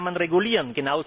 Das kann man regulieren.